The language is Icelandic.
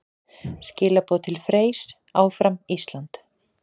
Skilaboð til Freys: Áfram Ísland!